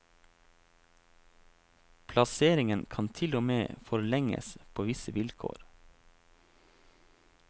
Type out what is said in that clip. Plasseringen kan til og med forlenges på visse vilkår.